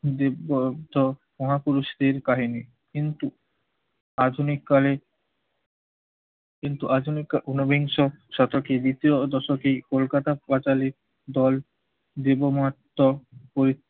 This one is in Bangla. দেব মহাপুরুষদের কাহিনি। কিন্তু আধুনিক কালে কিন্তু আধুনিক উনবিংশ শতকে দ্বিতীয় দশকে, কলকাতা পাঁচালী দল দেবমত্ত হয়ে